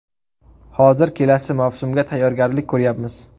Hozir kelasi mavsumga tayyorgarlik ko‘ryapmiz.